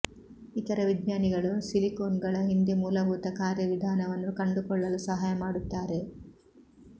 ಇತರ ವಿಜ್ಞಾನಿಗಳು ಸಿಲಿಕೋನ್ಗಳ ಹಿಂದೆ ಮೂಲಭೂತ ಕಾರ್ಯವಿಧಾನವನ್ನು ಕಂಡುಕೊಳ್ಳಲು ಸಹಾಯ ಮಾಡುತ್ತಾರೆ